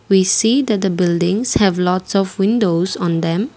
we see that the buildings have lots of windows on them.